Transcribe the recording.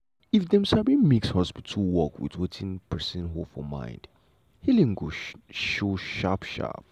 if dem sabi mix hospital work with wetin person hold for mind healing go show sharp sharp.